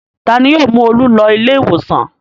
Ta ni yóò mú Olú lọ ilé-ìwòsàn?